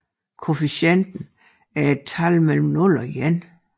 Koefficienten er et tal mellem 0 og 1